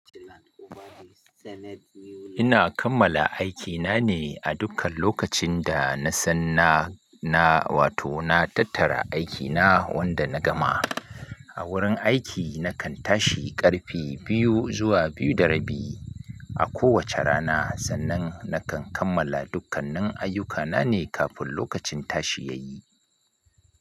Ina kammala aikina ne a dukkan lokacin da na san na, na wato na tattara aikina wanda na gama. A wurin aiki nakan tashi ƙarfe biyu zuwa biyu da rabi a kowace rana sannan nakan kammala dukkanin ayyukana ne kafin lokacin tashi ya yi.